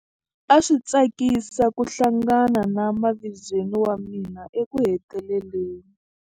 A swi tsakisa ku hlangana na mavizweni wa mina ekuheteleleni.